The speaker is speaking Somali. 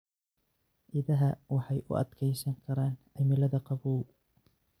Idaha waxay u adkeysan karaan cimilada qabow.